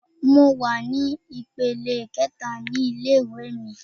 Mo wà ní ìpele kẹẹ̀ta ní ilé ìwé mi.